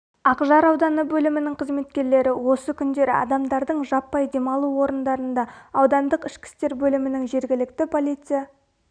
ақжар ауданы бөлімінің қызметкерлері осы күндері адамдардың жаппай демалу орындарында аудандық ішкі істер бөлімінің жергілікті полиция